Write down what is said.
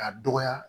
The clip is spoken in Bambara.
K'a dɔgɔya